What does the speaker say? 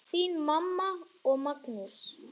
Þín mamma og Magnús.